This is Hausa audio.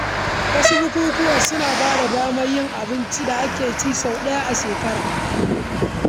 Wasu bukukuwa suna ba da damar cin abinci na musamman da ake yi sau ɗaya a shekara.